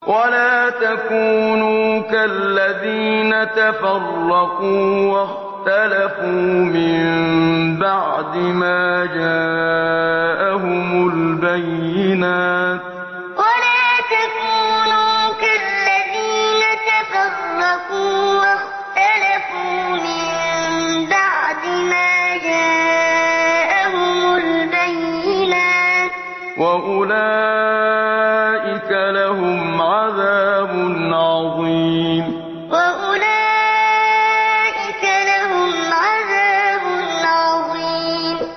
وَلَا تَكُونُوا كَالَّذِينَ تَفَرَّقُوا وَاخْتَلَفُوا مِن بَعْدِ مَا جَاءَهُمُ الْبَيِّنَاتُ ۚ وَأُولَٰئِكَ لَهُمْ عَذَابٌ عَظِيمٌ وَلَا تَكُونُوا كَالَّذِينَ تَفَرَّقُوا وَاخْتَلَفُوا مِن بَعْدِ مَا جَاءَهُمُ الْبَيِّنَاتُ ۚ وَأُولَٰئِكَ لَهُمْ عَذَابٌ عَظِيمٌ